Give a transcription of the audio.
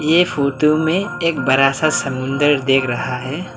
ये फोटो में एक बड़ा सा समुद्र देख रहा है।